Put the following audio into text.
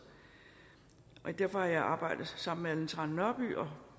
og derfor har jeg arbejdet sammen med ellen trane nørby og